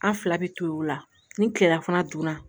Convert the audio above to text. An fila bɛ to u la ni kileya fana donna